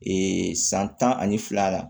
san tan ani fila la